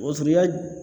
Wosonya